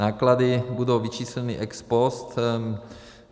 Náklady budou vyčísleny ex post.